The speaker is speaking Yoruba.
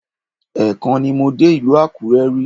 Ẹ́ẹ̀kan ni mo dé ìlú Àkúrẹ́ rí